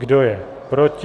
Kdo je proti?